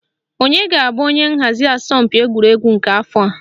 Onye ga-abụ onye nhazi asọmpi egwuregwu nke afọ a?